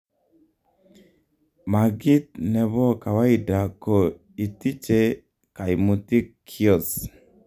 Makiit nebo kawaida ko itiche kaimutik kiios